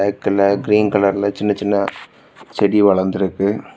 Green கலர்ல சின்ன சின்ன செடி வளர்ந்து இருக்கு.